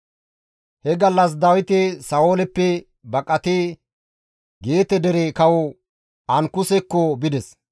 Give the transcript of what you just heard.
He gallas Dawiti Sa7ooleppe baqatidi Geete dere kawo Ankusekko bides;